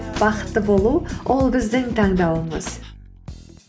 бақытты болу ол біздің таңдауымыз